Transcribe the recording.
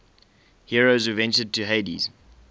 heroes who ventured to hades